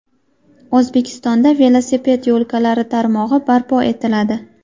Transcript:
O‘zbekistonda velosiped yo‘lkalari tarmog‘i barpo etiladi.